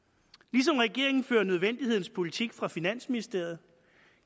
ligesom regeringen fører nødvendighedens politik fra finansministeriet